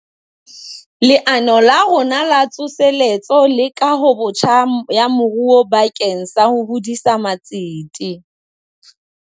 Leano la rona La Tsoseletso le Kahobotjha ya Moruo bakeng sa ho hodisa matsete.